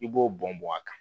I b'o bɔn bɔn a kan